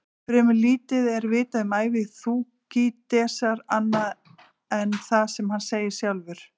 Fremur lítið er vitað um ævi Þúkýdídesar annað en það sem hann segir sjálfur.